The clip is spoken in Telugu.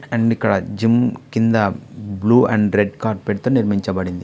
అండ్ ఇక్కడ జిమ్ కింద బ్లూ అండ్ రెడ్ కార్పెట్ తో నిర్మించబడింది.